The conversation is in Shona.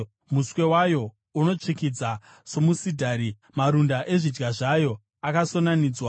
Muswe wayo unotsvikidza somusidhari; marunda ezvidya zvayo akasonanidzwa.